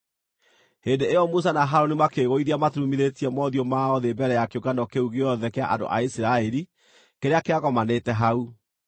Hĩndĩ ĩyo Musa na Harũni makĩĩgũithia maturumithĩtie mothiũ mao thĩ mbere ya kĩũngano kĩu gĩothe kĩa andũ a Isiraeli kĩrĩa kĩagomanĩte hau.